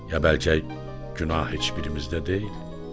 Ya bəlkə günah heç birimizdə deyil?